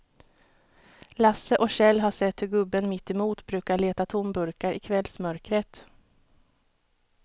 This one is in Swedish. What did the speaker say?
Lasse och Kjell har sett hur gubben mittemot brukar leta tomburkar i kvällsmörkret.